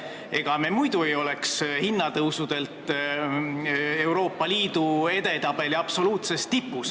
Ega me muidu ei oleks oma hinnatõusudega Euroopa Liidu edetabeli absoluutses tipus.